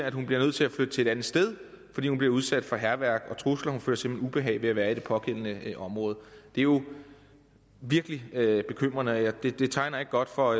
at hun bliver nødt til at flytte til et andet sted fordi hun bliver udsat for hærværk og trusler hun føler simpelt hen ubehag ved at være i det pågældende område det er jo virkelig bekymrende og det det tegner ikke godt for